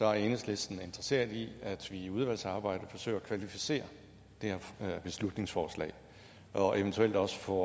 er enhedslisten interesseret i at vi i udvalgsarbejdet forsøger at kvalificere det her beslutningsforslag og eventuelt også får